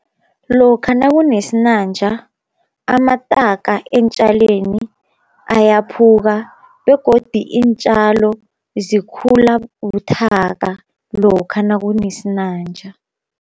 Lokha nakunesinanja amataka eentjaleni ayaphuka, begodi iintjalo zikhula buthaka lokha nakunesinanja.